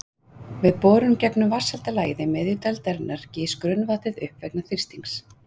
Við borun gegnum vatnshelda lagið í miðju dældarinnar gýs grunnvatnið upp vegna þrýstings.